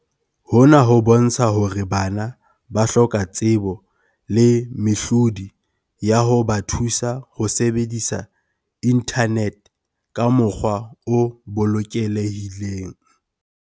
Hona ho bontsha hore bana ba hloka tsebo le mehlodi ya ho ba thusa ho sebedisa inthanete ka mokgwa o bolokelehileng.